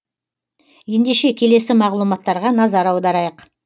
ендеше келесі мағлұматтарға назар аударайық